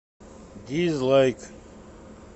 дизлайк